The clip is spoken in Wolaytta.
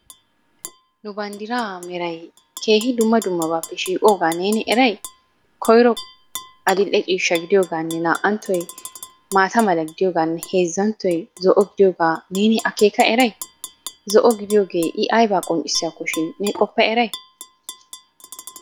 Nu baggaara meray keehi dumma dummabaappe shiiqqoogaa neeni eray? Koyro adil"e ciishshaa gidiyogaanne naa"anttoy maataa mala gidiyogaanne heezzanttoy zo"o gidiyogaa neeni akeekka eray? Zo"o gidiyogee I ayba qonccccissiyakkoshin ne qofa eray?